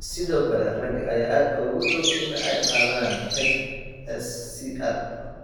Sidoo kale ragga ayaa aad ugu dhow in ay qaadaan HSCR.